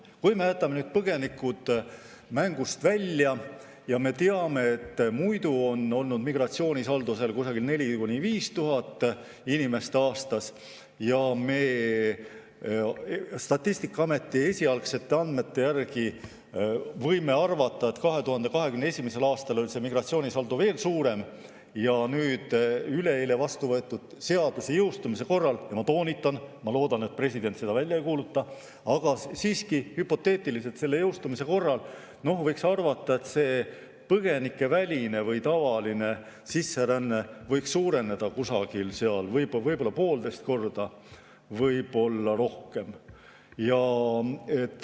Kui me jätame põgenikud mängust välja ja teame, et muidu on olnud migratsioonisaldo 4000–5000 inimest aastas ja Statistikaameti esialgsete andmete järgi võime arvata, et 2021. aastal oli migratsioonisaldo veel suurem, siis nüüd üleeile vastu võetud seaduse jõustumise korral – ma toonitan: ma loodan, et president seda välja ei kuuluta, aga siiski hüpoteetiliselt selle jõustumise korral – võiks arvata, et see põgenikeväline või tavaline sisseränne võiks suureneda võib-olla poolteist korda, võib-olla rohkem.